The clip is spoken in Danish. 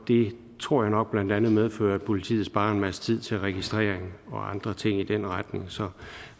det tror jeg nok blandt andet medfører at politiet sparer en masse tid til registrering og andre ting i den retning så jeg